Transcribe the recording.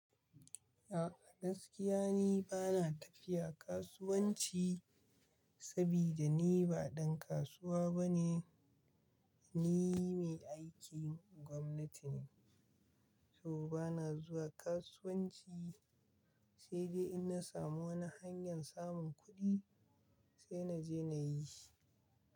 A gaskiya ni bana tafiya kasuwanci sabida ni ba ɗan kasuwa bane. Ni mai aikin gwamnati ne, so bana zuwa kasuwanci sai dai in na samu wani hanyar samun kuɗi sai na je na yi shi.